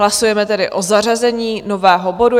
Hlasujeme tedy o zařazení nového bodu.